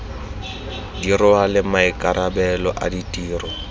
di rwale maikarabelo a ditiro